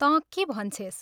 तँ के भन्छेस्?